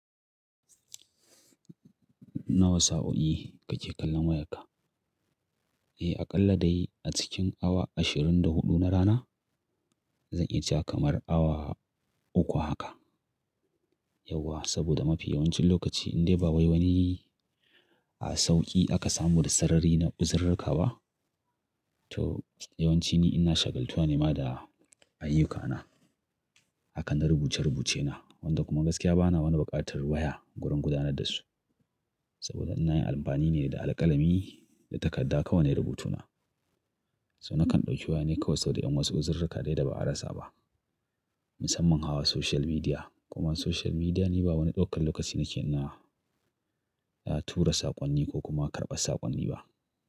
Nawa sa, o'i kake kallon wayarka? Eh, aƙalla dai a cikin awa ashirin da huɗu na rana. Zan iya cewa kamar awa uku haka. Yauwa, saboda mafi yawancin lokaci in dai ba wai wani a sauƙi aka samu da sarari na uzurarka ba, to yawanci ni ina shagaltuwa ne ma da ayyukana. Haka na rubuce rubuce na. Wanda kuma gaskiya bana wani bukatar waya gurin gudanar da su. Saboda ina yin amfani ne da alƙalami da takadda kawai ne rubutuna. So nakan ɗauki waya ne kawai saboda in wasu uzurarka dai da ba a rasa ba. Musamman hawa social media. Kuma social media ni ba wani ɗaukan lokaci nake na, tura saƙonni ko kuma karɓa saƙonni ba.